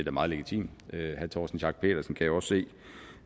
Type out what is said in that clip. er meget legitimt herre torsten schack pedersen kan jo også se